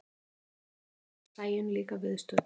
Nú er Sæunn líka viðstödd.